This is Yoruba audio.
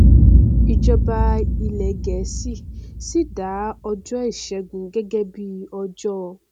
ìjọba ilẹ gẹẹsì sì dá ọjọ ìṣẹgun gẹgẹ bíi ọjọ